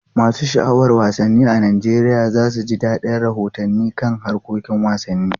Masu sha'awar wasanni a Najeriya za su ji dadin rahotanni kan harkokin wasanni.